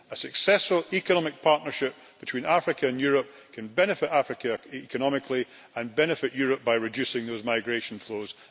A successful economic partnership between Africa and Europe can benefit Africa economically and benefit Europe by reducing those migration flows.